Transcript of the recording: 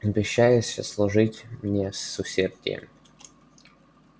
обещаешься служить мне с усердием